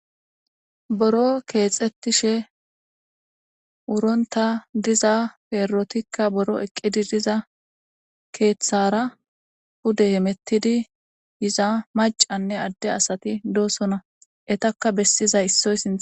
Buro kexetishshe wuronta diza perotikka buro eqi diza keththara pude hemetidi macane ade asati dossona etakka besiza isoy sinththara